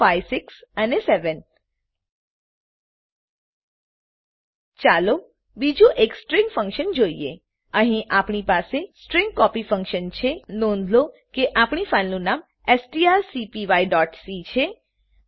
123456 અને 7 ચાલો બીજું એક સ્ટ્રીંગ ફંક્શન જોઈએ અહીં આપણી પાસે સ્ટ્રીંગ કોપી ફંક્શન છે નોંધ લો કે આપણી ફાઈલનું નામ strcpyસી છે